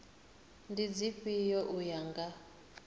ndi dzifhio u ya nga